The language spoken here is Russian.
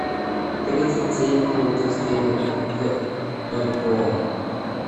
тридцать семь фунтов стерлингов в бальбоа